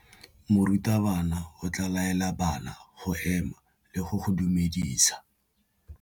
Morutabana o tla laela bana go ema le go go dumedisa.